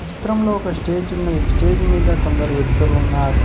చిత్రంలో ఒక స్టేజ్ ఉన్నది స్టేజి మీద కొందరు వ్యక్తులు ఉన్నారు.